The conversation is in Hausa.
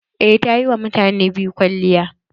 Eh, ta yi wa mutane biyu kwalliya.